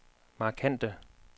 markante